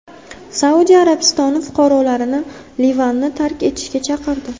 Saudiya Arabistoni fuqarolarini Livanni tark etishga chaqirdi.